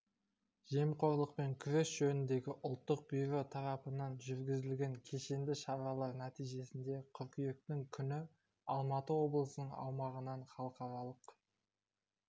жемқорлықпен күрес жөніндегі ұлттық бюро тарапынан жүргізілген кешенді шаралар нәтижесінде қыркүйектің күні алматы облысының аумағынан халықаралық